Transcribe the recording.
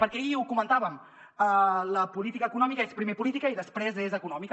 perquè ahir ho comentàvem la política econòmica és primer política i després econòmica